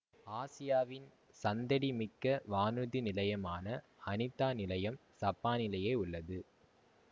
ஆசியாவின் சந்தடி மிக்க வானூர்தி நிலையமான அனீதா நிலையம் சப்பானிலேயே உள்ளது